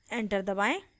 enter दबाएं